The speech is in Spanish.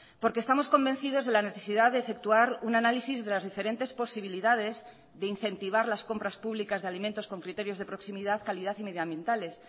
porque estamos convencidos de la necesidad de efectuar un análisis de las diferentes posibilidades de incentivar las compras públicas de alimentos con criterios de proximidad calidad y medio ambientales